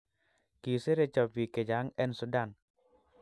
Kiseretyo pik che chang en sundan